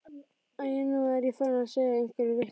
Æi, nú er ég farin að segja einhverja vitleysu.